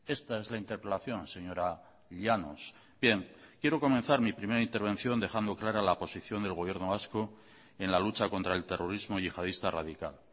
esta es la interpelación señora llanos bien quiero comenzar mi primera intervención dejando clara la posición del gobierno vasco en la lucha contra el terrorismo yihadista radical